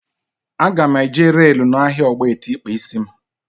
A ga m eje reelu n'ahia ogbete ikpa isi m